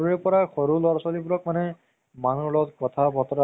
তাৰপিছত তোমাৰ, আহ তাৰ